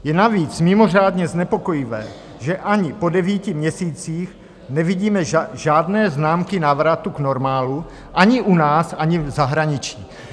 Je navíc mimořádně znepokojivé, že ani po devíti měsících nevidíme žádné známky návratu k normálu ani u nás, ani v zahraničí.